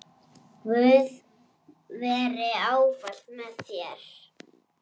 Guð veri ávallt með þér.